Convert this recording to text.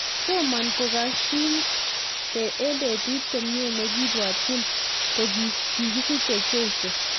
Toman kokashin eng petut komie nekibwatyin kokikisichee jeiso